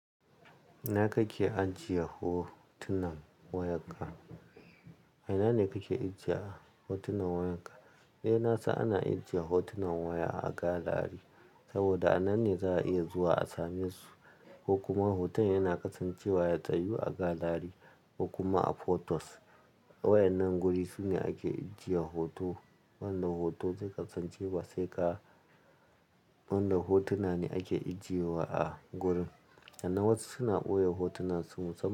Ina kake ajiye hotunan wayarka? Ina ne kake ajiye hotunan wayarka? Eh, na san ana ajiye hotunan waya a galari saboda a nan ne za a iya zuwa a same su. Ko kuma hoton yana kasancewa ya tsayu a galari, ko kuma a photos. Wayannan guri sune ake ijiye hoto, wanda hoto su kasancewa sai ka, wanda hotuna ne ake ijiyewa a gurin. Sannan wasu suna boye hotuna su.